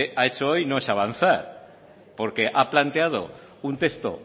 ha hecho hoy no es avanzar porque ha planteado un texto